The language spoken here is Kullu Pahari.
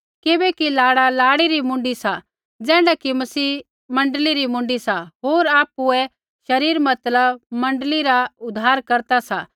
किबैकि लाड़ा लाड़ी री मुँडी सा ज़ैण्ढा कि मसीह मण्डली री मुँडी सा होर आपुऐ शरीर मतलब मण्डली रा उद्धारकर्ता सा